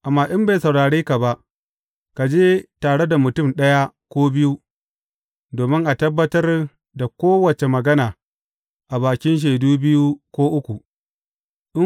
Amma in bai saurare ka ba, ka je tare da mutum ɗaya ko biyu, domin a tabbatar da kowace magana a bakin shaidu biyu ko uku.’